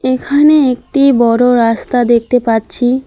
এখানে একটি বড়ো রাস্তা দেখতে পাচ্ছি।